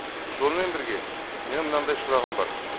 сонымен бірге менің мынандай сұрағым бар